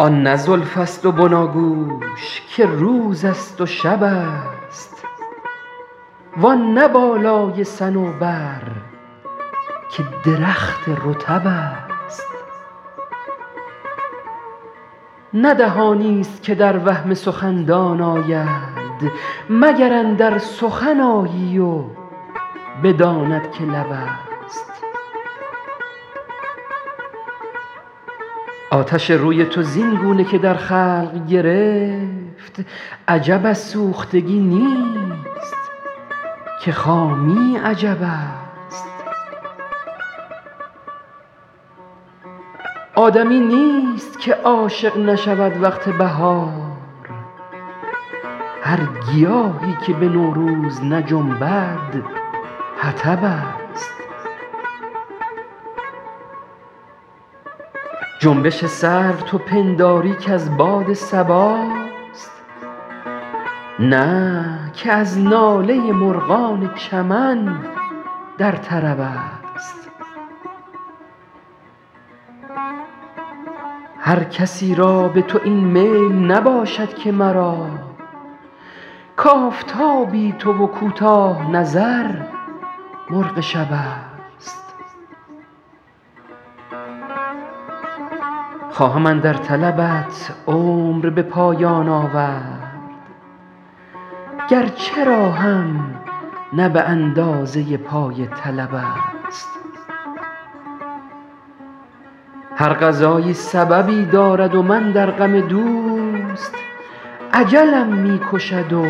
آن نه زلف است و بناگوش که روز است و شب است وآن نه بالای صنوبر که درخت رطب است نه دهانی است که در وهم سخندان آید مگر اندر سخن آیی و بداند که لب است آتش روی تو زین گونه که در خلق گرفت عجب از سوختگی نیست که خامی عجب است آدمی نیست که عاشق نشود وقت بهار هر گیاهی که به نوروز نجنبد حطب است جنبش سرو تو پنداری که از باد صباست نه که از ناله مرغان چمن در طرب است هر کسی را به تو این میل نباشد که مرا کآفتابی تو و کوتاه نظر مرغ شب است خواهم اندر طلبت عمر به پایان آورد گرچه راهم نه به اندازه پای طلب است هر قضایی سببی دارد و من در غم دوست اجلم می کشد و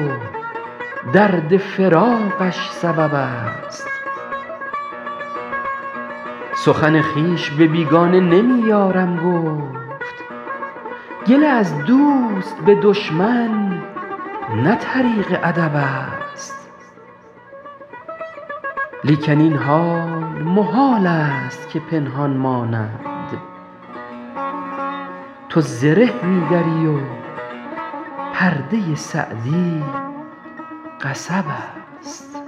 درد فراقش سبب است سخن خویش به بیگانه نمی یارم گفت گله از دوست به دشمن نه طریق ادب است لیکن این حال محال است که پنهان ماند تو زره می دری و پرده سعدی قصب است